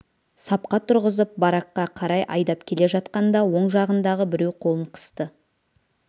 сапқа тұрғызып баракқа қарай айдап келе жатқанда оң жағындағы біреу қолын қысты